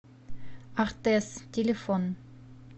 артэс телефон